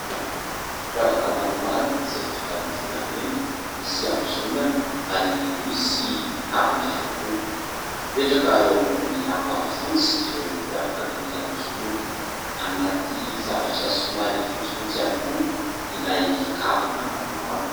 Firavaka maromaro izay vita amin'ny volamena, misy hiambozonana ary misy kavina ihany koa ; mipetraka eo ambony lamba fotsy ireo firavaka mety hiambozonana ; anaty zavatra somary fotsifotsy ihany koa ilay kavina maromaro.